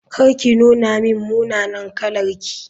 Kar ki nuna min munanan kalarki.